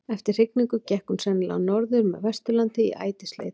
Eftir hrygningu gekk hún sennilega norður með Vesturlandi í ætisleit.